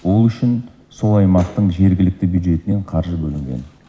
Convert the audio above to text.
ол үшін сол аймақтың жергілікті бюджетінен қаржы бөлінген